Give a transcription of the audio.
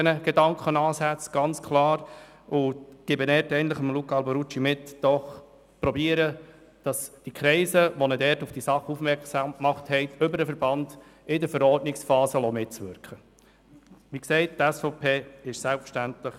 Insofern rate ich Luca Alberucci, die Kreise, durch die er auf die Angelegenheit aufmerksam gemacht worden ist, über den Verband in der Verordnungsphase mitwirken zu lassen.